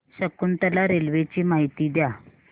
Shakuntala railway ची माहिती द्या